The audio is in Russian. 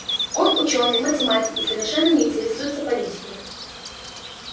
он учёный математик и совершенно не интересуется политикой